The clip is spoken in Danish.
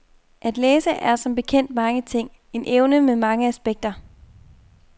At læse er som bekendt mange ting, en evne med mange aspekter.